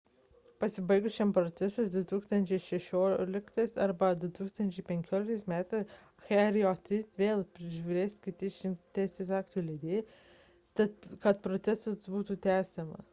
pasibaigus šiam procesui 2015 m arba 2016 m hjr-3 vėl peržiūrės kiti išrinkti teisės aktų leidėjai kad procesas būtų tęsiamas